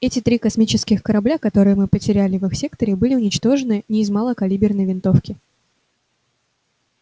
эти три космических корабля которые мы потеряли в их секторе были уничтожены не из малокалиберной винтовки